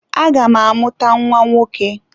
Aga m amụta nwa nwoke.